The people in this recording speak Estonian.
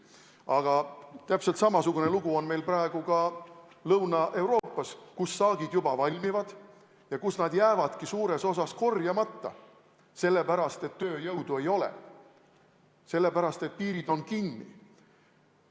Aga täpselt samasugune lugu on praegu ka Lõuna-Euroopas, kus saagid juba valmivad ja kus need jäävadki suures osas korjamata, sellepärast et tööjõudu ei ole, sellepärast et piirid on kinni.